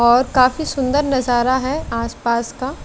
और काफी सुंदर नजारा है आस पास का।